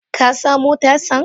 Ka samo tasan?